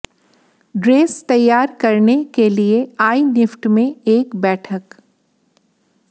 dress तैयार करने के लिए आईनिफ्ट में एक बैठक